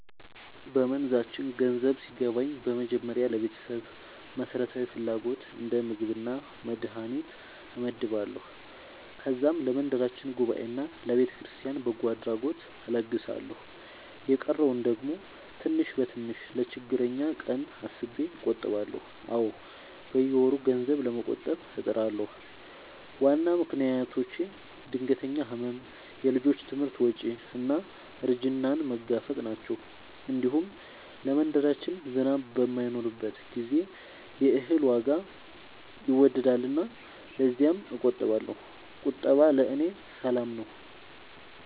በመንዛችን ገንዘብ ሲገባኝ በመጀመሪያ ለቤተሰብ መሠረታዊ ፍላጎት እንደ ምግብና መድሀኒት እመድባለሁ። ከዛም ለመንደራችን ጉባኤና ለቤተክርስቲያን በጎ አድራጎት እለግሳለሁ። የቀረውን ደግሞ ትንሽ በትንሽ ለችግረኛ ቀን አስቤ እቆጥባለሁ። አዎ፣ በየወሩ ገንዘብ ለመቆጠብ እጥራለሁ። ዋና ምክንያቶቼ ድንገተኛ ሕመም፣ የልጆች ትምህርት ወጪ እና እርጅናን መጋፈጥ ናቸው። እንዲሁም ለመንደራችን ዝናብ በማይኖርበት ጊዜ የእህል ዋጋ ይወገሳልና ለዚያም እቆጥባለሁ። ቁጠባ ለእኔ ሰላም ነው።